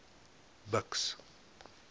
buks